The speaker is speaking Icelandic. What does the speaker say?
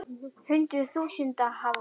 Hundruð þúsunda hafa flúið.